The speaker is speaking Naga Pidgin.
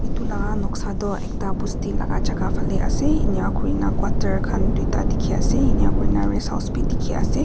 edu la noksa toh ekta bosti laka jaka ase enakurna quater khan tuita dikhiase enkuna rest house bi dikhiase.